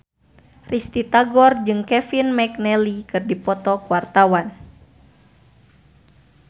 Risty Tagor jeung Kevin McNally keur dipoto ku wartawan